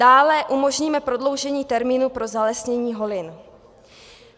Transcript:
Dále umožníme prodloužení termínu pro zalesnění holin.